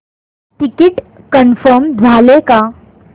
ticket confirm झाले का